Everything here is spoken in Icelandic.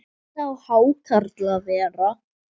Hvernig á hákarl að vera?